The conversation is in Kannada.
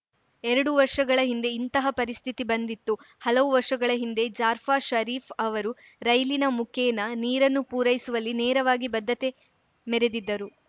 ಎರಡು ವರ್ಷಗಳ ಹಿಂದೆ ಇಂತಹ ಪರಿಸ್ಥಿತಿ ಬಂದಿತ್ತು ಹಲವು ವರ್ಷಗಳ ಹಿಂದೆ ಜಾರ್ಫ್ ಷರೀಫ್‌ ಅವರು ರೈಲಿನ ಮುಖೇನ ನೀರನ್ನು ಪೂರೈಸುವಲ್ಲಿ ನೆರವಾಗಿ ಬದ್ಧತೆ ಮೆರೆದಿದ್ದರು